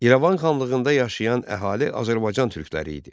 İrəvan xanlığında yaşayan əhali Azərbaycan türkləri idi.